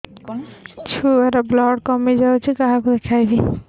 ଛୁଆ ର ବ୍ଲଡ଼ କମି ଯାଉଛି କାହାକୁ ଦେଖେଇବି